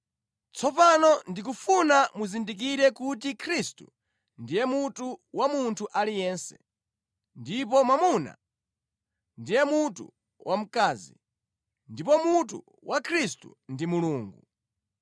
Tsopano ndikufuna muzindikire kuti Khristu ndiye mutu wa munthu aliyense, ndipo mwamuna ndiye mutu wamkazi, ndipo mutu wa Khristu ndi Mulungu.